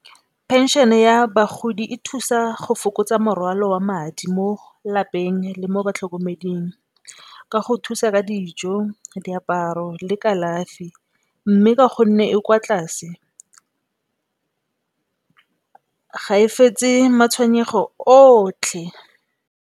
Phenšene ya bagodi e thusa go fokotsa morwalo wa madi mo lapeng le mo batlhokomeding, ka go thusa ka dijo diaparo le kalafi. Mme, ka gonne e kwa tlase ga e fetse matshwenyego otlhe.